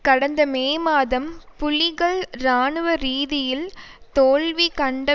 கடந்த மே மாதம் புலிகள் இராணுவ ரீதியில் தோல்விகண்ட